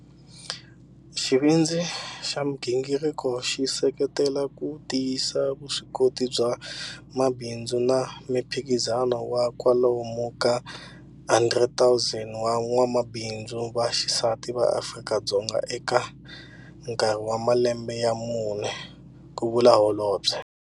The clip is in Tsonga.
Xivindzi xa migingiriko xi seketela ku tiyisa vuswikoti bya mabindzu na miphikizano wa kwalomu ka 10 000 wa van'wamabindzu va xisati va Afrika-Dzonga eka nkarhi wa malembe ya mune, ku vula Holobye.